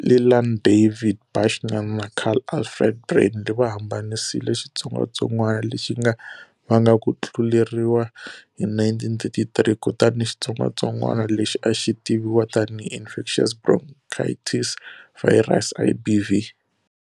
Leland David Bushnell na Carl Alfred Brandly va hambanisile xitsongwatsongwana lexi nga vanga ku tluleriwa hi 1933. Kutani xitsongwatsongwana lexi a xi tiviwa tanihi infectious bronchitis virus, IBV